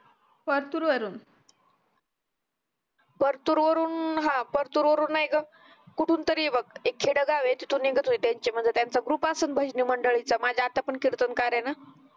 फरतुर वरून फरतुर वरून अं अह फरतुर वरून नाय ग कुठून तरी हे बग एक खेडं ए तिथून निघत होती त्यांची म्णजे त्यांचा group असतो ना भजनी मंडळींचा माझी आत्या पण कीर्तनकार ए ना